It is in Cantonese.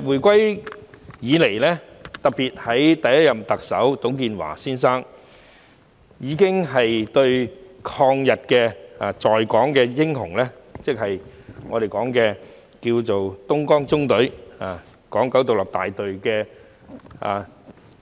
回歸以來，特別是第一任特首董建華先生已有接見在港的抗日英雄，即東江縱隊港九獨立大隊